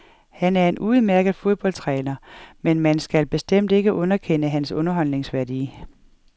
Han er en udmærket fodboldtræner, men man skal bestemt ikke underkende hans underholdningsværdi.